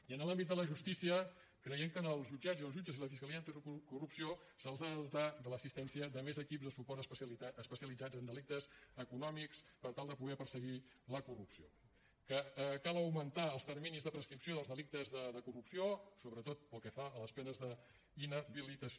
i en l’àmbit de la justícia creiem que als jutjats i els jutges i la fiscalia anticorrupció se’ls ha de dotar de l’assistència de més equips de suport especialitzat en delictes econòmics per tal de poder perseguir la corrupció que cal augmentar els terminis de prescripció dels delictes de corrupció sobretot pel que fa a les penes d’inhabilitació